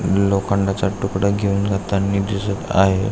लोखंडचा तुकडा घेऊन जाटांनी दिसत आहे.